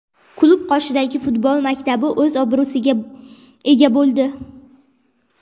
Klub qoshidagi futbol maktabi o‘z obro‘siga ega bo‘ldi.